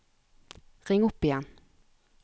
ring opp igjen